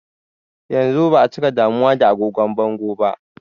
Yanzu ba'a cika damuwa da agogon bango ba.